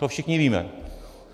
To všichni víme.